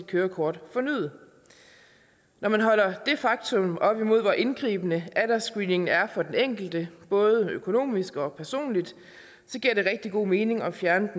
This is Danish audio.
kørekort fornyet når man holder det faktum op imod hvor indgribende aldersscreeningen er for den enkelte både økonomisk og personligt giver det rigtig god mening at fjerne